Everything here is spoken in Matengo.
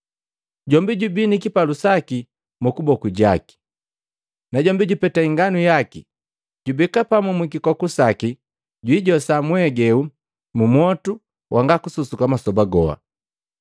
Jombi jubi ni kipalu saki mumaboku gaki, najombi jupeta inganu yaki, jubeka pamu mwikikoku saki na jwijosa mwegeu mumwotu wanga kususuka masoba goha.”